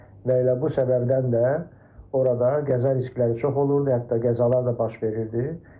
Və elə bu səbəbdən də orada qəza tezlikləri çox olurdu, hətta qəzalar da baş verirdi.